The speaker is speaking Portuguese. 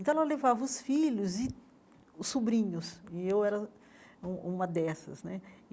Então, ela levava os filhos e os sobrinhos, e eu era um uma dessas né.